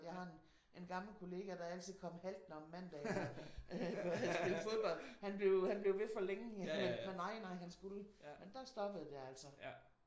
Jeg har en en gammel kollega der altid kom haltende om mandagen. Havde spillet fodbold. Han blev han blev ved for længe men nej nej han skulle. Men der stoppede det altså